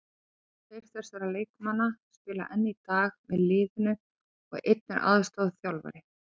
Tveir þessara leikmanna spila enn í dag með liðinu og einn er aðstoðarþjálfari.